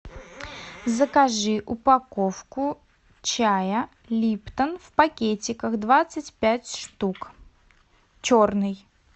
закажи упаковку чая липтон в пакетиках двадцать пять штук черный